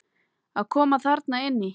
Að koma þarna inn í?